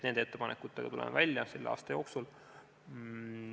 Nende ettepanekutega tuleme välja selle aasta jooksul.